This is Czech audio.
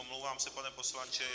Omlouvám se, pane poslanče.